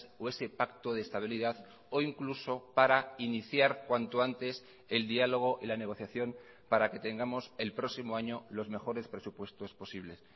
o ese pacto de estabilidad o incluso para iniciar cuanto antes el diálogo y la negociación para que tengamos el próximo año los mejores presupuestos posibles